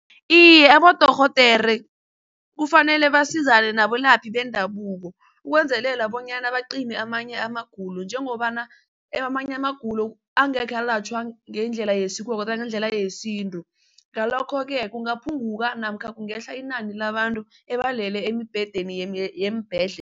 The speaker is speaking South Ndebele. Iye, abodorhodere kufanele basizane nabelaphi bendabuko ukwenzelela bonyana bacime amanye amagulo njengobana amanye amagulo angekhe alatjhwa ngendlela yesiko kodwana ngendlela yesintu. Ngalokho-ke kungaphunguka namkha kungehla inani labantu ebalele emibhedeni